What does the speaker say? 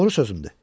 Doğru sözümdür.